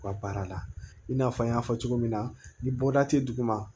U ka baara la i n'a fɔ an y'a fɔ cogo min na ni bɔda tɛ duguma